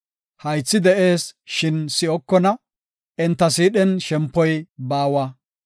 Haythi de7ees, shin si7okona; enta siidhen shempoy baawa.